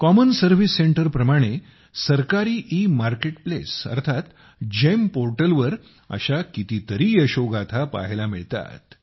common service सेंटरप्रमाणे सरकारी e market place अर्थात जीईएम पोर्टलवर अशा किती यशोगाथा पाहायला मिळतात